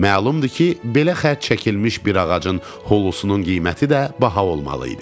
Məlumdur ki, belə xətt çəkilmiş bir ağacın hulusunun qiyməti də baha olmalı idi.